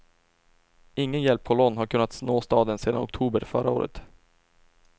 Ingen hjälpkolonn har kunnat nå staden sedan oktober förra året.